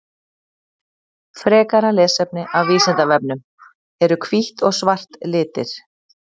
Frekara lesefni af Vísindavefnum: Eru hvítt og svart litir?